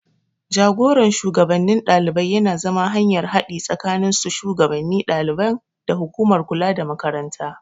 Jagoran shugabannin ɗalibai yana zama hanyar haɗi tsakanin su shugannin ɗaliban da hukumar kula da Makaranta.